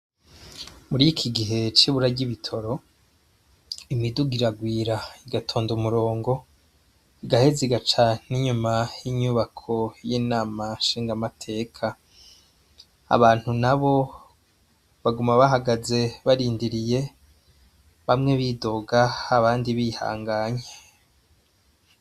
Murikigihe cibura ry’ibitoro, imiduga iragwira igatondo umurongo, igaheze igaca n'inyuma yinyubako y’inama nshingamateka, abantu nabo baguma bahagaze barindiriye bamwe bidoga abandi bihanganye.